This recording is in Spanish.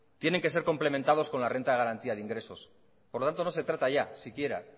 tiene que ser complementados con la renta de garantía de ingresos por lo tanto no se trata ya siquiera